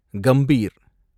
Gambhir